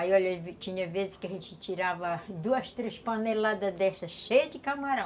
Aí, olha, tinha vezes que a gente tirava duas, três paneladas dessas cheias de camarão.